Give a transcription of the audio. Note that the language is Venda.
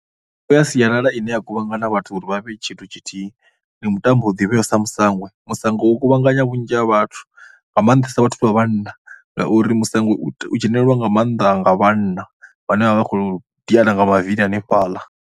Mitambo ya sialala ine ya kuvhangana vhathu uri vha vhe tshithu tshithihi ndi mutambo u ḓivheaho sa musango, musango u kuvhanganya vhunzhi ha vhathu, nga maanḓesa vhathu vha vhanna. Nga uri musango u dzhenelelwa nga maanḓa nga vhanna vhane vha vha vha khou diana nga mavili hanefhaḽa.